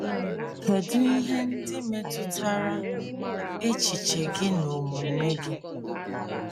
Kedụ ihe ndị metụtara echiche gị na omume gị?